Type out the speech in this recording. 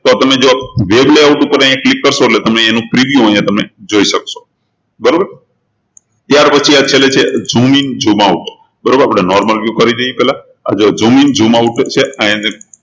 તો આપણને જો આ web layout ઉપર click કરશો એટલે તમે એનું preview તમે અહિયાં જોઈ શકશો બરોબર ત્યારપછી આ છેલ્લે છે zoom in zoom out બરોબર આપણે normal view કરી દઈએ પહેલા આ જો zoom in zoom out છે